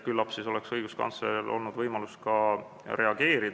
Küllap oleks õiguskantsleril olnud võimalus ka reageerida.